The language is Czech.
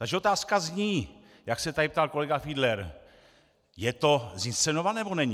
Takže otázka zní, jak se tady ptal kolega Fiedler: Je to zinscenované, nebo není?